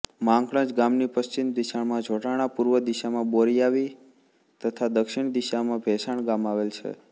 માંકણજ ગામની પશ્ચિમ દિશામાં જોટાણા પૂર્વ દિશામાં બોરીયાવી તથા દક્ષિણ દિશામાં ભેસાણા ગામ આવેલા છે